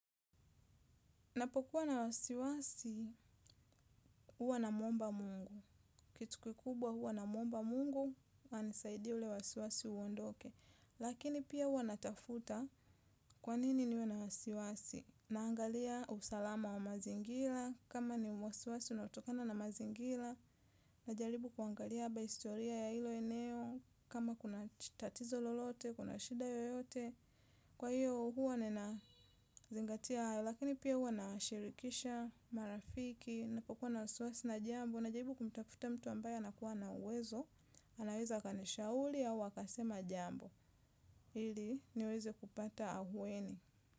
Napokuwa na wasiwasi, huwa namwomba Mungu. Kitu kikubwa huwa namwomba Mungu, anisaidie ule wasiwasi uondoke. Lakini pia huwa natafuta kwanini niwe na wasiwasi. Naangalia usalama wa mazingira, kama ni wasiwasi unatokana na mazingira, najaribu kuangalia historia ya ilo eneo, kama kuna tatizo lolote, kuna shida yoyote. Kwa hiyo huwa ninazingatia hayo, lakini pia huwa nawashirikisha marafiki, napokuwa na wasiwasi na jambo najaribu kumtafuta mtu ambaye anakuwa na uwezo, anaweza akanishauri au akasema jambo, ili niweze kupata ahueni.